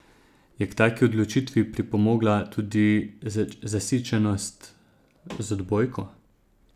Je k taki odločitvi pripomogla tudi zasičenost z odbojko?